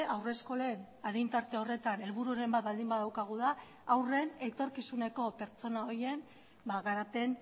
haurreskolen adin tarte horretan helbururen bat baldin badaukagu da haurren etorkizuneko pertsona horien garapen